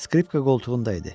Skripka qoltuğunda idi.